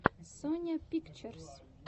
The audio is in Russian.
соня пикчерз